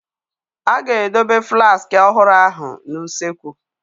A ga-edobe flaaski ọhụrụ ahụ n'usekwu.